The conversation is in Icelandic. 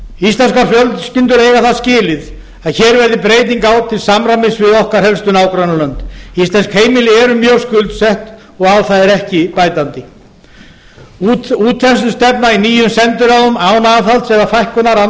íslenskar fjölskyldur eiga það skilið að hér verði breyting á til samræmis við okkar helstu nágrannalönd íslensk heimili eru mjög skuldsett og á það er ekki bætandi útþenslustefna í nýjum sendiráðum án aðhalds eða fækkunar annars